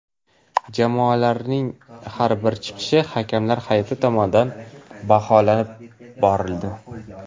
Jamoalarning har bir chiqishi hakamlar hay’ati tomonidan baholab borildi.